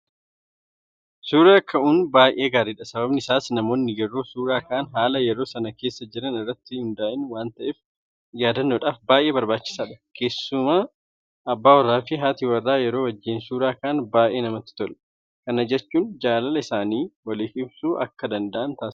Suura ka'uun baay'ee gaariidha. Sababni isaas namoonni yeroo suura ka'an haala yeroo sana keessa jiran irratti hundaa'ee waanta ta'eef yaadannoodhaaf baay'ee barbaachisaadha. Keessumaa abbaa warraafi Haati warraa yeroo wajjin suura ka'an baay'ee namatti tola. Kana jechuun jaalala isaanii waliif ibsuu akka danda'an taasisa.